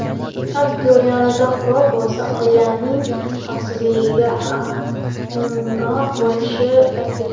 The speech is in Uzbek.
Aktyor yonida qurol bo‘lsa, oilasining xavfsizligiga aminroq bo‘lishini aytgan.